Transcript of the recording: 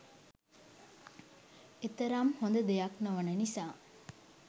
එතරම් හොඳ දෙයක් නොවන නිසා